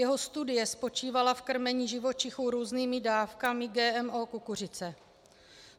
Jeho studie spočívala v krmení živočichů různými dávkami GMO kukuřice.